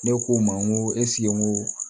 Ne k'o ma n ko n ko